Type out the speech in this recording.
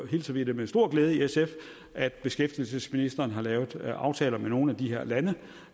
hilser vi det med stor glæde i sf at beskæftigelsesministeren har lavet aftaler med nogle af de her lande